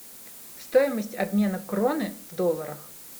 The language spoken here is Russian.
стоимость обмена кроны в долларах